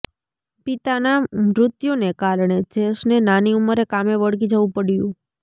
પિતાના મૃત્યુને કારણે જેસને નાની ઉંમરે કામે વળગી જવું પડ્યું